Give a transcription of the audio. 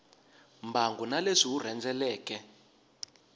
mbangu na leswi wu rhendzeleke